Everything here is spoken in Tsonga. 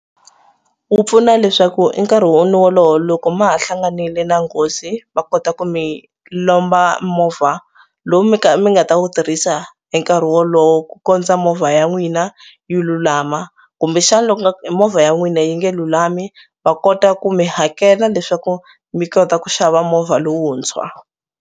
Wu pfuna leswaku e nkarhi loko ma ha hlanganile na nghozi va kota ku mi lomba movha lowu mi mi nga ta wu tirhisa hi nkarhi wolowo ku kondza movha ya n'wina yi lulama kumbexana loku nga ku movha ya n'wina yi nge lulami va kota ku mi hakela leswaku mi kota ku xava movha lowuntshwa.